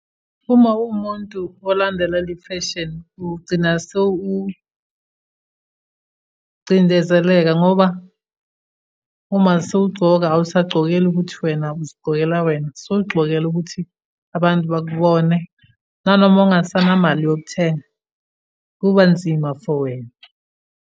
Uma uwumuntu olandelela ifeshini, ugcina sewucindezeleka ngoba uma sewugcoka awusagcokeli ukuthi wena uzigcokela wena, sewugxokela ukuthi abantu bakubone. Nanoma ungasanamali yokuthenga, kuba nzima for wena.